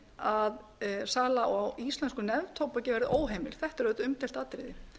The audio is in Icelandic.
að sala á íslensku neftóbaki verði óheimil þetta er auðvitað umdeilt atriði